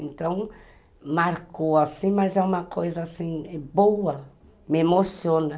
Então, marcou assim, mas é uma coisa boa, me emociona.